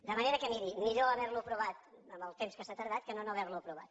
de manera que miri millor haver lo aprovat amb el temps que s’ha tardat que no no haver lo aprovat